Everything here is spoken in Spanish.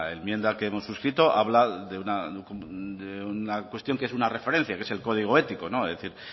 enmienda que hemos suscrito habla de una cuestión que es una referencia que es el código ético es decir